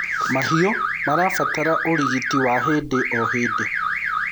mahiũ marabatara urigiti wa hĩndĩ o hĩndĩ